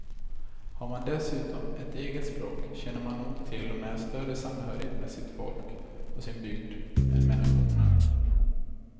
Har man dessutom ett eget språk känner man nog till och med större samhörighet med sitt folk och sin bygd än med nationen.